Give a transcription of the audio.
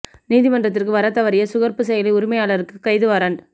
நீதிமன்றத்திற்கு வரத்தவறிய சுகர்புக் செயலி உரிமையாளருக்கு கைது வாரண்ட்